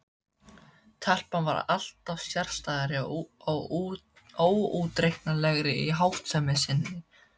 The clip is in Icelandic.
Telpan varð alltaf sérstæðari og óútreiknanlegri í háttsemi sinni.